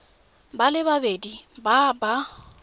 ba le babedi ba ba